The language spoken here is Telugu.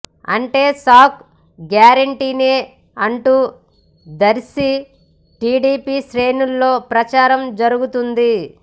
అంటే షాక్ గ్యారెంటీనే అంటూ దర్శి టీడీపీ శ్రేణుల్లో ప్రచారం జరుగుతుంది